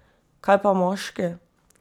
Kaj pa moški?